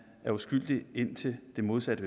er uskyldig indtil det modsatte